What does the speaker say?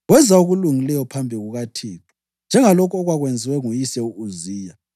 Wenza okulungileyo phambi kukaThixo, njengalokho okwakwenziwe nguyise u-Uziya.